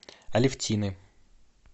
алефтины